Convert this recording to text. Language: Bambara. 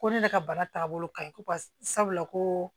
Ko ne ka bana taagabolo kaɲi ko pase sabula ko